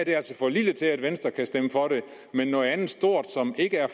er altså for lille til at venstre kan stemme for den men noget andet stort som ikke er